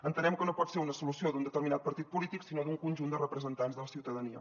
entenem que no pot ser una solució d’un determinat partit polític sinó d’un conjunt de representants de la ciutadania